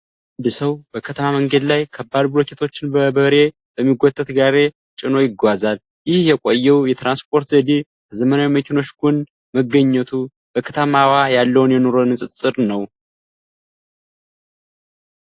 አንድ ሰው በከተማ መንገድ ላይ ከባድ ብሎኬቶችን በበሬ በሚጎተት ጋሪ አጭኖ ይጓዛል። ይህ የቆየው የትራንስፖርት ዘዴ ከዘመናዊ መኪኖች ጎን መገኘቱ፣ በከተማዋ ያለውን የኑሮ ንፅፅር ነው።